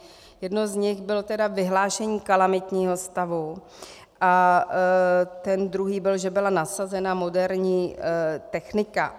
Jeden z nich byl tedy vyhlášení kalamitního stavu a ten druhý byl, že byla nasazena moderní technika.